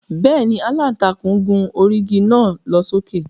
Bẹ́ẹ̀ni, Àlàntakùn gùn ógiri naa lo soke.